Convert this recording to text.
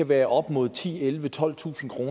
være op mod ti til elleve tolvtusind kr